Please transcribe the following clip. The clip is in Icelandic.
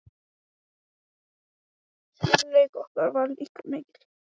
Skyldleiki okkar var líka mikill, því mæður okkar